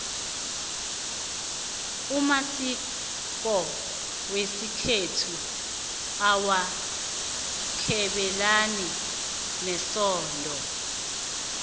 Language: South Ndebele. amasiko wesikhethu awakhabelani nesondo